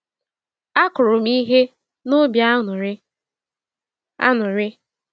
Akụrụ m ihe n'obi aṅụrị. aṅụrị.